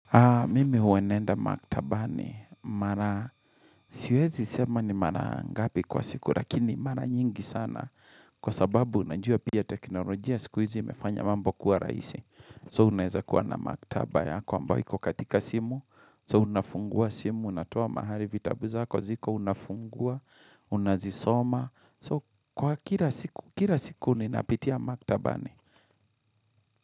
Mimi huwa naenda maktabani mara siwezi sema ni mara ngapi kwa siku lakini mara nyingi sana kwa sababu unajua pia teknolojia siku hizi imefanya mambo kuwa raisi so unaeza kuwa na maktaba yako ambayo iko katika simu so unafungua simu, unatoa mahali vitabu zako ziko unafungua, unazisoma so kwa kila siku ninapitia maktabani.